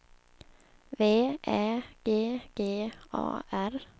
V Ä G G A R